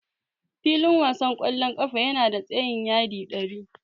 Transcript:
Filin wasan ƙwallon ƙafa yana da tsayin yadi ɗari.